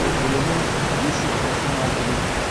көлемі бес жүз тоқсан алты бет